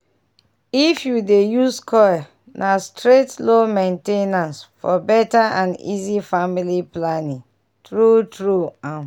if you dey dey use coil na straight low main ten ance --for better and easy family planning. true trueum.